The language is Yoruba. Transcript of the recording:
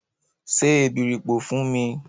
Se èbèripò fún mi!